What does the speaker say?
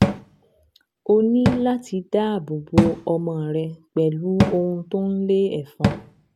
O ní láti dáàbò bo ọmọ rẹ pẹ̀lú ohun tó ń lé ẹ̀fọn